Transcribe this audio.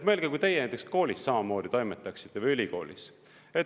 Mõelge, kui teie näiteks koolis samamoodi toimetaksite või ülikoolis.